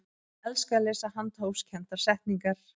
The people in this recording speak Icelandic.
ég elska að lesa handahófskendar settningar